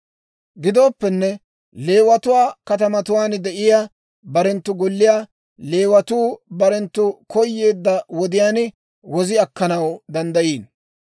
« ‹Gidooppenne Leewatuwaa katamatuwaan de'iyaa barenttu golliyaa Leewatuu barenttu koyeedda wodiyaan wozi akkanaw danddayiino.